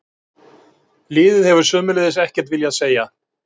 Liðið hefur sömuleiðis ekkert viljað segja